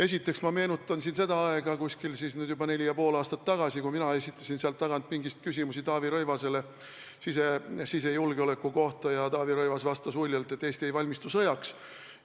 Esiteks ma meenutan siin seda aega, nüüd siis juba umbes neli ja pool aastat tagasi, kui mina esitasin sealt tagant pingist küsimusi Taavi Rõivasele sisejulgeoleku kohta ja Taavi Rõivas vastas uljalt, et Eesti ei valmistu sõjaks.